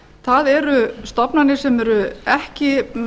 það eru stofnanir sem eru ekki